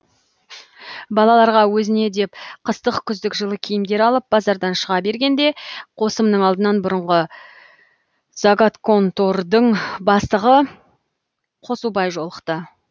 балаларға өзіне деп қыстық күздік жылы киімдер алып базардан шыға бергенде қосымның алдынан бұрынғы заготконтордың бастығы қосубай жолықты